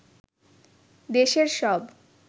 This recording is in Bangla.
দেশের সব